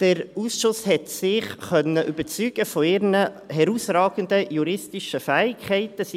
Der Ausschuss hat sich von ihren herausragenden juristischen Fähigkeiten überzeugen können.